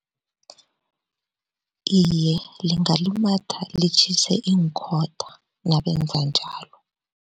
Iye, lingalumatha litjhise iinkhotha nabenza njalo.